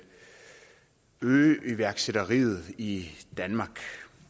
øge iværksætteriet i danmark